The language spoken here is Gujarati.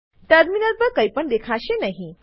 ટર્મિનલ પર કઈ પણ દેખાશે નહી